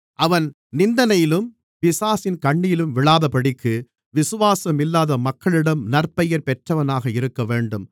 அவன் நிந்தனையிலும் பிசாசின் கண்ணியிலும் விழாதபடிக்கு விசுவாசமில்லாத மக்களிடம் நற்பெயர் பெற்றவனாக இருக்கவேண்டும்